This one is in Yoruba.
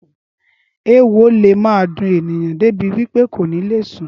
Ééwo le ma dun èèyàn débi wípé kò ní le sùn